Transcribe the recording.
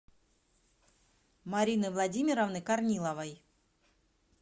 марины владимировны корниловой